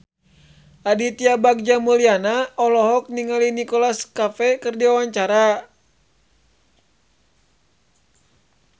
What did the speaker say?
Aditya Bagja Mulyana olohok ningali Nicholas Cafe keur diwawancara